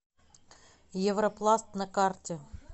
европласт на карте